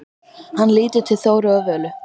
Hann lítur til Þóru og Völu.